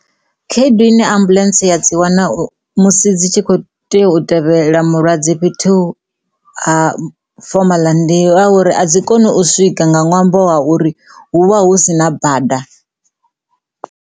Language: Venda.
Khaedu ine ambuḽentse ya dzi wana musi dzi tshi kho tea u tevhela mulwadze fhethu ha fomala ndi a uri a dzi koni u swika nga ṅwambo wa uri hu vha hu si na bada.